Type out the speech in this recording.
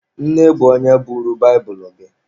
Nne bụ onye buuru baịbụlụ gị.